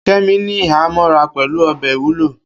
Kemi ní ìhámọ́ra pẹ̀lú ọ̀bẹ ìwúlò.